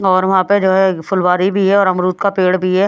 और वहां पे जो है फुलवारी भी है और अमरूद का पेड़ भी है।